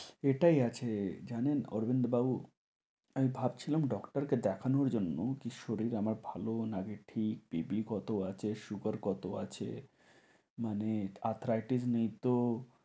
এটাই আছে জানেন অরবিন্দু বাবু, আমি ভাবছিলাম doctor কে দেখানোর জন্য কী শরীর আমার ভালো নাকি ঠিক BP কত আছে, sugar কত আছে মানে arthritis নেই তো,